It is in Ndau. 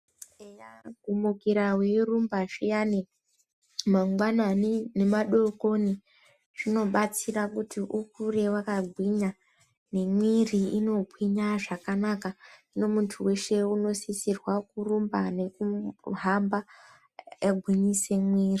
Eya, kumukira weirumba zviyani mangwanani nemadokoni zvinobatsira kuti ukure wakagwinya, nemwiri inogwinya zvakanaka. Hino muntu eshe unosisirwa kurumba nekuhamba eigwinyise mwiri.